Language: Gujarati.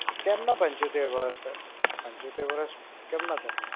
કેમના પંચોતેર વર્ષ? પંચોતેર વર્ષ કેમના થાય?